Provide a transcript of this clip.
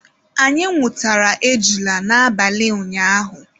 Anyị nwụtara ejula n'abalị ụnyaahụ.